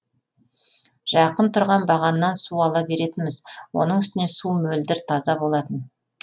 жақын тұрған бағаннан су ала беретінбіз оның үстіне су мөлдір таза болатын